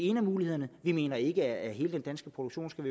en af mulighederne vi mener ikke at hele den danske produktion skal